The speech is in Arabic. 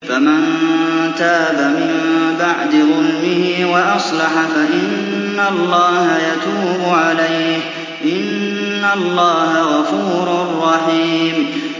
فَمَن تَابَ مِن بَعْدِ ظُلْمِهِ وَأَصْلَحَ فَإِنَّ اللَّهَ يَتُوبُ عَلَيْهِ ۗ إِنَّ اللَّهَ غَفُورٌ رَّحِيمٌ